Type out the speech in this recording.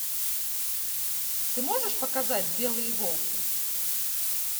ты можешь показать белые волки